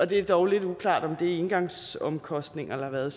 det er dog lidt uklart om det er engangsomkostninger eller hvad